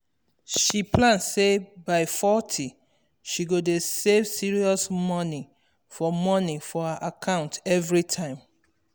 she plan say by forty she go dey save serious moni for moni for her account every time